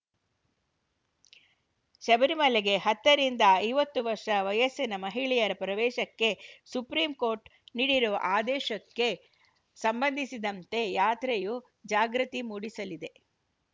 ಶಬರಿಮಲೆಗೆ ಹತ್ತ ರಿಂದ ಐವತ್ತು ವರ್ಷ ವಯಸ್ಸಿನ ಮಹಿಳೆಯರ ಪ್ರವೇಶಕ್ಕೆ ಸುಪ್ರೀಂ ಕೋರ್ಟ್‌ ನೀಡಿರುವ ಆದೇಶಕ್ಕೆ ಸಂಬಂಧಿಸಿದಂತೆ ಯಾತ್ರೆಯು ಜಾಗೃತಿ ಮೂಡಿಸಲಿದೆ